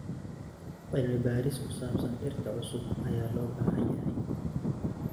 Cilmi-baaris ku saabsan dhirta cusub ayaa loo baahan yahay.